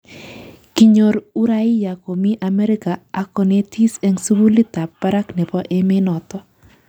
Kinyoor uraia komii Amerika ak konetis eng sugulit ab barak nebo emenoto